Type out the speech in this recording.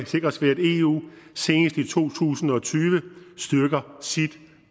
sikres ved at eu senest i to tusind og tyve styrker sit